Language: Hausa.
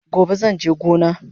Gobe zanje gona